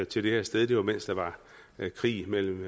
til det her sted det var mens der var krig mellem